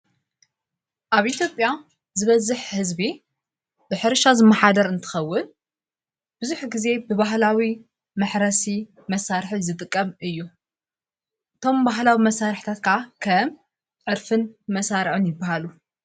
ኣብ ኢቲጴያ ዝበዝኅ ሕዝቢ ብኅርሻ ዝመኃደር እንትኸውል ብዙኅ ጊዜ ብባህላዊ መሕረሲ መሣርሕ ዝጥቀም እዩ እቶም ባህላዊ መሣርሕታትካዓ ከ ዕርፍን መሣርዑን ይበሃሉ።